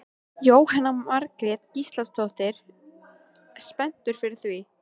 Jóhanna Margrét Gísladóttir: Spenntur fyrir því?